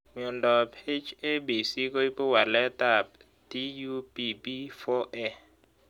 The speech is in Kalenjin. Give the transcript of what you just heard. Miondop H ABC koipu walet ab TUBB4A